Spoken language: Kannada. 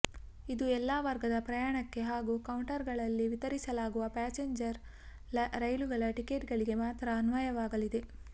ಇದು ಎಲ್ಲಾ ವರ್ಗದ ಪ್ರಯಾಣಕ್ಕೆ ಹಾಗೂ ಕೌಂಟರ್ ಗಳಲ್ಲಿ ವಿತರಿಸಲಾಗುವ ಪ್ಯಾಸೆಂಜರ್ ರೈಲುಗಳ ಟಿಕೆಟ್ಗಳಿಗೆ ಮಾತ್ರ ಅನ್ವಯವಾಗಲಿದೆ